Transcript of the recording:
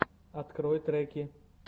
открой треки